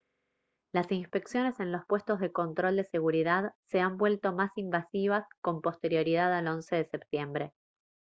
las inspecciones en los puestos de control de seguridad se han vuelto más invasivas con posterioridad al 11 de septiembre